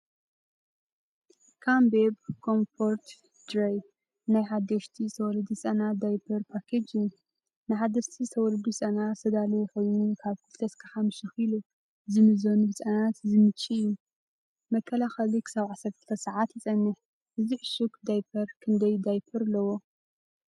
"ካንበቤ ኮምፎርት ድራይ" ናይ ሓደሽቲ ዝተወልዱ ህጻናት ዳያፐር ፓኬጅ እዩ። ንሓደስቲ ዝተወልዱ ህጻናት ዝተዳለወ ኮይኑ ካብ 2-5 ኪሎ ዝምዘኑ ህጻናት ዝምችእ እዩ። መከላኸሊ ክሳብ 12 ሰዓታት ይጸንሕ። እዚ ዕሹግ ዳያፐር ክንደይ ዳያፐር ኣለዎ?